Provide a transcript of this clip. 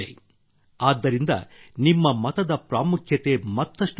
ಆದ್ದರಿಂದ ನಿಮ್ಮ ಮತದ ಪ್ರಾಮುಖ್ಯತೆ ಮತ್ತಷ್ಟು ಹೆಚ್ಚಾಗಿದೆ